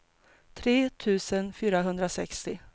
tre tusen fyrahundrasextio